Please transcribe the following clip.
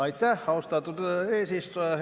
Aitäh, austatud eesistuja!